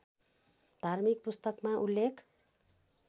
धार्मिक पुस्तकमा उल्लेख